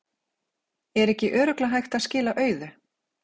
Er ekki örugglega hægt að skila auðu?